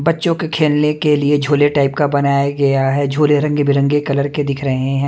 बच्चो के खेलने के लिए छोल्ले टाइप का बनाया गया है छोल्ले रंग बिरंगे कलर के दिख रहे है ।